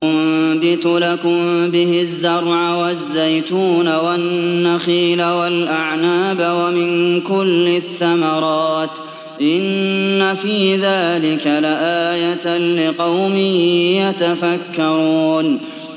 يُنبِتُ لَكُم بِهِ الزَّرْعَ وَالزَّيْتُونَ وَالنَّخِيلَ وَالْأَعْنَابَ وَمِن كُلِّ الثَّمَرَاتِ ۗ إِنَّ فِي ذَٰلِكَ لَآيَةً لِّقَوْمٍ يَتَفَكَّرُونَ